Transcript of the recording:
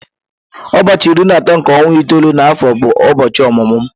Ụbọọchi iri na atọ nke ọnwa itoolu na afọ bụ ụbọọchi ọmụmụ m.